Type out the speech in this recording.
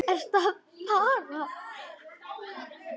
Ertu að fara?